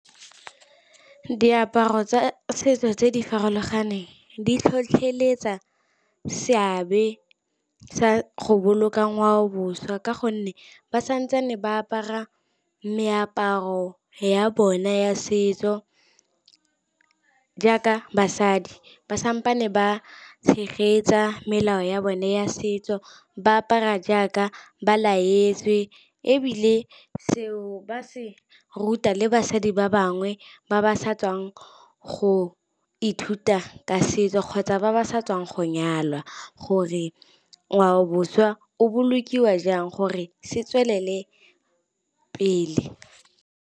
Diaparo tsa setso tse di farologaneng di tlhotlheletsa seabe sa go boloka ngwaoboswa, ka gonne ba santse ba apara meaparo ya bona ya setso jaaka basadi. Ba sampane ba tshegetsa melao ya bone ya setso. Ba apara jaaka ba laetswe ebile seo ba se ruta le basadi ba bangwe, ba ba sa tswang go ithuta ka setso kgotsa ba ba sa tswang go nyalwa. Gore ngwaoboswa o bolokiwa jang gore se tswelele pele.